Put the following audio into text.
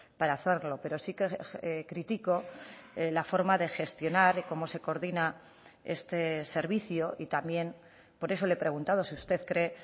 para hacerlo pero sí que critico la forma de gestionar y cómo se coordina este servicio y también por eso le he preguntado si usted cree